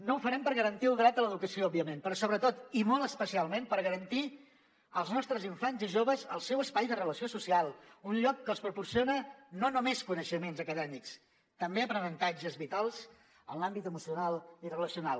no ho farem per garantir el dret a l’educació òbviament però sobretot i molt especialment per garantir als nostres infants i joves el seu espai de relació social un lloc que els proporciona no només coneixements acadèmics també aprenentatges vitals en l’àmbit emocional i relacional